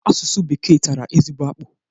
Asụsụ Bekee tara ezigbo akpụ.